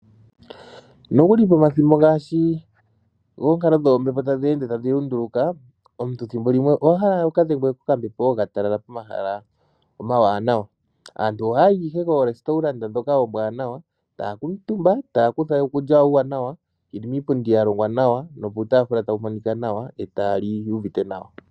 Nokuli pomathimbo ngaashi gookalo dhoombepo tadhi ende tadhi lunduluka omuntu thimbo limwe owahala wuka dhengwe kokambepo ka talala pomahala omawanawa, aantu oha yayi koorestaurant dhoka oombwanawa taya kala omutumba, taya kutha uukulya wawo uuwanawa yeli miipundi ya longwa nawa nuutafula tawu monika nawa e taya li yu uvite nawa.